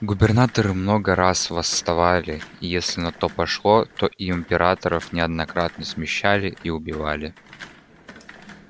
губернаторы много раз восставали и если на то пошло то и императоров неоднократно смещали и убивали